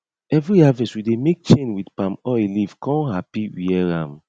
every harvest we dey make chain with palmoil leaf kon happy wear am